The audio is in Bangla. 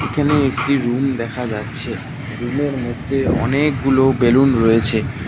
এখানে একটি রুম দেখা যাচ্ছে রুমের -এর মধ্যে অনেকগুলো বেলুন রয়েছে।